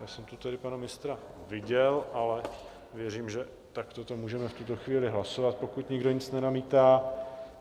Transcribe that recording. Já jsem tu tedy pana ministra viděl, ale věřím, že takto to můžeme v tuto chvíli hlasovat, pokud nikdo nic nenamítá.